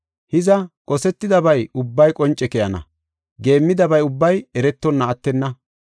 Hiza, qosetidabay ubbay qonce keyana; geemmidabay ubbay eretonna attenna.